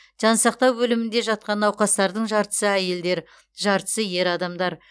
жансақтау бөлімінде жатқан науқастардың жартысы әйелдер жартысы ер адамдар